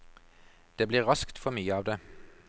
Det blir raskt for mye av det.